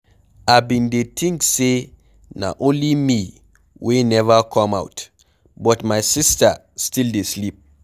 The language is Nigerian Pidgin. I bin dey think say na only me wey never come out but my sister still dey sleep.